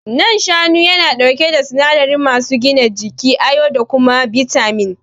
Nan shanu yana ɗauke da sinadari masu gina jiki, ayon da kuma bitamin.